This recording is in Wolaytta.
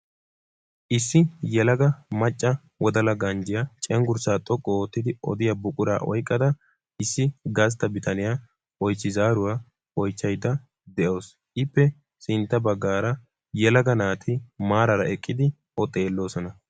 Issi yelagaa macca wodala ganjjiyaa cengurssaa xoqqu oottidi odiyaa buquraa oyqqada issi gasta bitaniya oychchi zaaruwa oychchaydda de'awusu. Ippe sintta baggaara yelaga naati maarara eqqidi o xeelloosona.